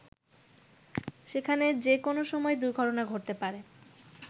সেখানে যে কোনো সময় দুর্ঘটনা ঘটতে পারে।